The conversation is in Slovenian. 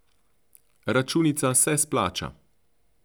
Računica se splača.